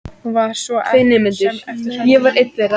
Hún var svo sem ekki hrædd en.